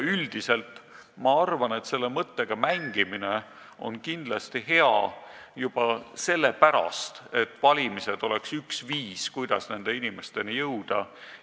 Üldiselt ma arvan, et selle mõttega mängimine on kindlasti hea juba sellepärast, et valimised oleks üks viis, kuidas nende inimesteni jõuda.